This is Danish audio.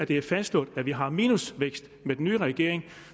det er fastslået at vi har minusvækst med den nye regering